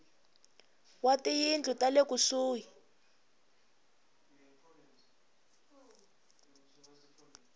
wa tiyindlu ta le kusuhi